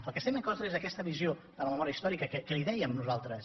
del que estem en contra és d’aquesta visió de la memòria històrica que li dèiem nosaltres